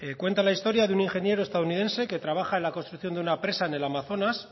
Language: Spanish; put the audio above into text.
cuenta la historia de un ingeniero estadounidense que trabaja en la construcción de una presa en el amazonas